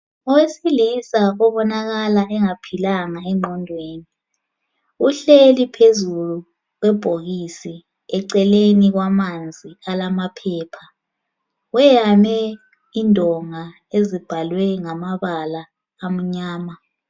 Owesilisa obonakala engaphilanga engqondweni. Uhleli phezu kwebhokisi eceleni kwamanzi alamaphepha, weyame indonga ezibhalwe ngamabala amnyama.